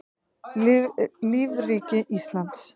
lífríki íslands